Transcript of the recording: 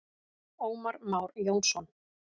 Ómar Már Jónsson.